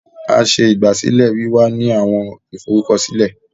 A ṣe igbasilẹ wiwa ni awọn iforukọsilẹ